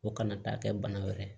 O kana taa kɛ bana wɛrɛ ye